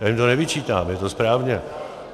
Já jim to nevyčítám, je to správně.